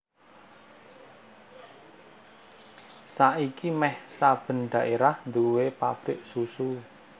Saiki méh saben dhaérah nduwèni pabrik susu